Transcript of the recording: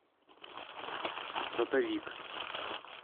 сотовик